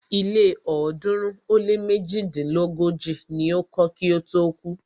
Ilé ọ̀ọ́dúnrún ó lé méjidínlógójì ni o kọ́ kí ó tó kú.